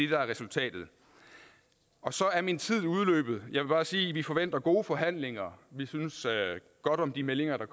der er resultatet så er min tid udløbet jeg vil bare sige at vi forventer gode forhandlinger vi synes godt om de meldinger der